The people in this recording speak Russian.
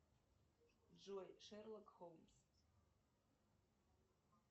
джой шерлок холмс